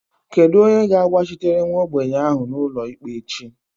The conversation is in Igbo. Kedu onye ga-agbachitere nwa ogbenye ahụ n'ụlọikpe echi?